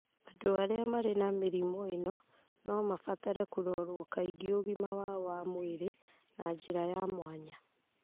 Andũ arĩa marĩ na mĩrimũ ĩno no mabatare kũrorwo kaingĩ ũgima wao wa mwĩrĩ na njĩra ya mwanya.